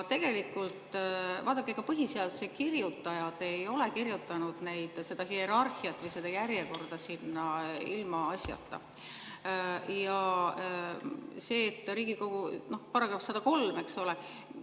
Vaadake, ega põhiseaduse kirjutajad ei ole kirjutanud seda hierarhiat või seda järjekorda sinna ilmaasjata, see § 103, eks ole.